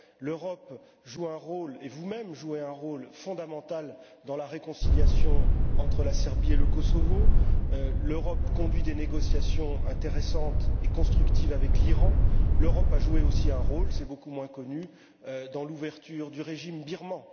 L'Europe joue un rôle et vous même jouez un rôle fondamental dans la réconciliation entre la Serbie et le Kosovo. L'Europe conduit des négociations intéressantes et constructives avec l'Iran. L'Europe a joué aussi un rôle fait beaucoup moins connu dans l'ouverture du régime birman.